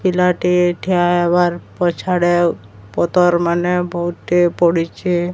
ପିଲାଟି ଠିଆହେବାର୍ ପଛ୍ଆଡେ ପତର୍ ମାନେ ବୋହୁତି ପଡ଼ିଛି।